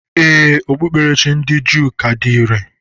Ee, Okpukperechi ndị Juu ka dị irè.